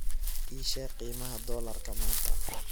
ii sheeg qiimaha dollarka maanta